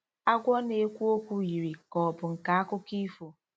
Agwọ na-ekwu okwu yiri ka ọ bụ nke akụkọ ifo.